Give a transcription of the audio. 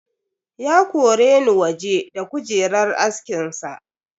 Ya koreni waje da kujerar askin sa.